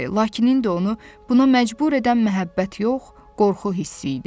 Lakin indi onu buna məcbur edən məhəbbət yox, qorxu hissi idi.